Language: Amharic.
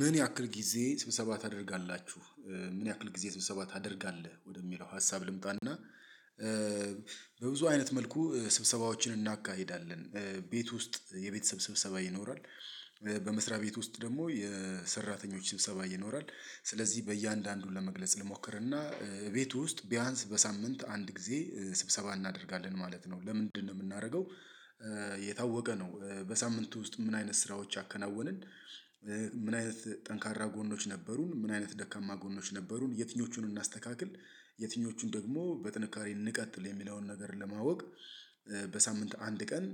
ምን ያክል ጊዜ ስብሰባ ታደርጋላችሁ? ምን ያክል ጊዜ ስብሰባ ታደርጋለህ ወደሚለው ሀሳብ ልምጣና። በብዙ አይነት መልኩ ስብሰባዎችን እናካሂዳለን። ቤት ውስጥ የቤት የቤተሰብ ስብሰባ ይኖራል። በመስሪያ ቤት ውስጥ ደግሞ የሰራተኞች ስብሰባ ይኖራል። ስለዚህ በእያንዳንዱ ለመግለጽ ልሞክርና። ቤቱ ውስጥ ቢያንስ በሳምንት አንድ ጊዜ ስብሰባ እናደርጋለን ማለት ነው ለምንድነው የምናደርገው? የታወቀ ነው በሳምንቱ ውስጥ ምን አይነት ስራዎች አከናወንን። ምን አይነት ጠንካራ ጎኖች ነበሩን ምን አይነት ደካማ ጎኖች ነበሩን የትኞቹን እናስተካክል። የትኞቹን ደግሞ በጥንካሬ እንቀጥል የሚለውን ነገር ለማወቅ። በሳምንት አንድ ቀን